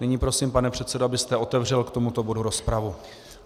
Nyní prosím, pane předsedo, abyste otevřel k tomuto bodu rozpravu.